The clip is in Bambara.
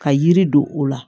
Ka yiri don o la